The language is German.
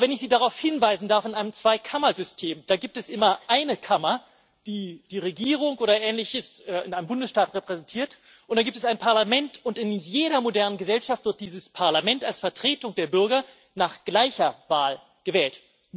Aber wenn ich Sie darauf hinweisen darf In einem Zweikammersystem, da gibt es immer eine Kammer, die die Regierung oder Ähnliches in einem Bundesstaat repräsentiert, und dann gibt es ein Parlament. Und in jeder modernen Gesellschaft wird dieses Parlament als Vertretung der Bürger nach gleicher Wahl gewählt.